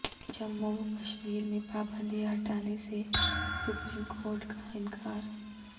جموں و کشمیر میں پابندیاں ہٹانے سے سپریم کورٹ کا انکار